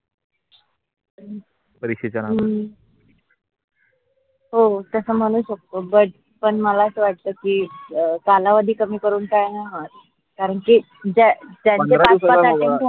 हो तस म्हणू but पण मला अस वाटकी कालावधी कमी करून काही नाही होत कारण कि ज्या